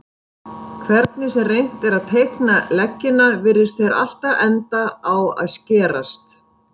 Hvernig sem reynt er að teikna leggina virðast þeir alltaf enda á að skerast.